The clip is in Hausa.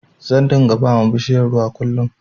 Zan dunga bawa bishiyar ruwa kullin